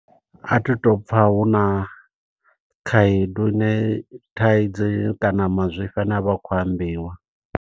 A thi to pfa huna khaedu ine thaidzo kana mazwifhi ane avha akhou ambiwa.